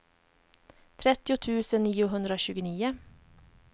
trettio tusen niohundratjugonio